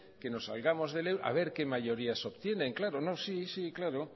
que nos salgamos del euro a ver qué mayorías obtienen claro no sí sí claro